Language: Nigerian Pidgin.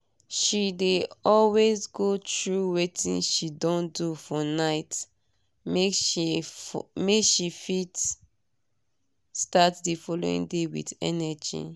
she dey always go through wetin she don do for nightmake she fit start the following day with energy